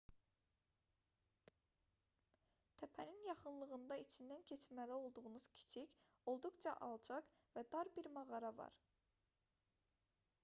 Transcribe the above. təpənin yaxınlığında içindən keçməli olduğunuz kiçik olduqca alçaq və dar bir mağara var